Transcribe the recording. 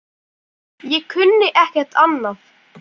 Ég kunni ekkert annað.